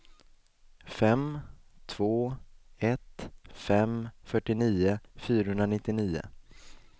fem två ett fem fyrtionio fyrahundranittionio